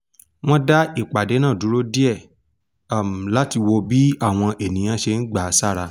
wọn dá ìpàdé náa dúró díẹ̀ láti wo bí àwọn ènìyàn ṣe n gbà sára